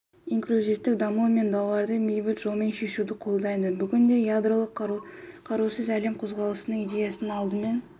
инклюзивтік даму мен дауларды бейбіт жолмен шешуді қолдайды бүгінде ядролық қарусыз әлем қозғалысының идеясымен алдымен